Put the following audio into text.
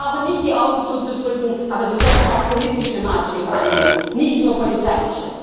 Sie brauchen nicht die Augen zuzudrücken, aber Sie sollen auch politische Maßstäbe anlegen, nicht nur polizeiliche.